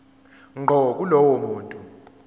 ngqo kulowo muntu